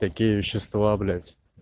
такие вещества блять